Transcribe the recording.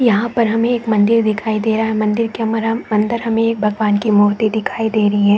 यहाँ पर हमें एक मंदिर दिखाई दे रहा है मंदिर के मर्म अंदर हमें एक भगवान की मूर्ती दिखाई दे रही है।